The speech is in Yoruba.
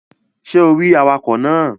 Ṣé o rí awakọ̀ náà?